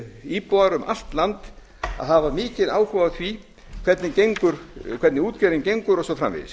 íbúar um allt land að hafa mikinn áhuga á því hvernig útgerðin gengur og svo framvegis